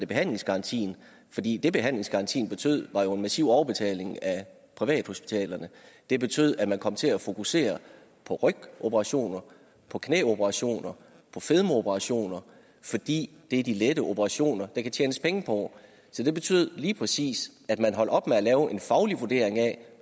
behandlingsgarantien fordi det behandlingsgarantien betød var en massiv overbetaling af privathospitalerne det betød at man kom til at fokusere på rygoperationer på knæoperationer på fedmeoperationer fordi det er de lette operationer der kan tjenes penge på så det betød lige præcis at man holdt op med at lave en faglig vurdering af